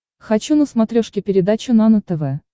хочу на смотрешке передачу нано тв